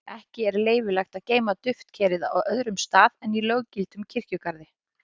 ekki er leyfilegt að geyma duftkerið á öðrum stað en í löggiltum kirkjugarði